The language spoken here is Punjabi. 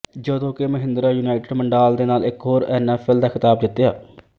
ਜਦੋਂ ਕਿ ਮਹਿੰਦਰਾ ਯੂਨਾਈਟਿਡ ਮੰਡਾਲ ਦੇ ਨਾਲ ਇਕ ਹੋਰ ਐਨਐਫਐਲ ਦਾ ਖਿਤਾਬ ਜਿੱਤਿਆ